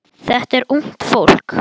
Þetta er ungt fólk.